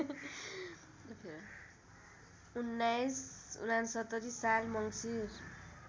१९६९ साल मङ्सिर